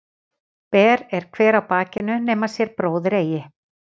Ber er hver á bakinu nema sér bróðir sér eigi.